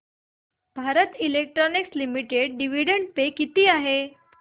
Bharat electronics limited dividend pay किती आहे